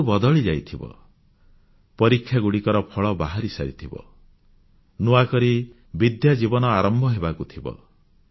ଋତୁ ବଦଳିଯାଇଥିବ ପରୀକ୍ଷାଗୁଡ଼ିକର ଫଳ ବାହାରିସାରିଥିବ ନୂଆକରି ବିଦ୍ୟାଜୀବନ ଆରମ୍ଭ ହେବାକୁ ଥିବ